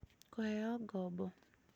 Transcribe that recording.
kũheo ngombo